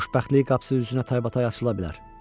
Xoşbəxtlik qapısı üzünə taybatay açıla bilər.